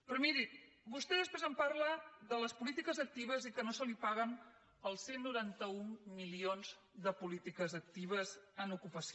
però miri vostè després em parla de les polítiques actives i que no se li paguen els cent i noranta un milions de polítiques actives en ocupació